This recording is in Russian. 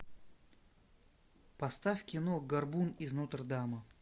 поставь кино горбун из нотр дама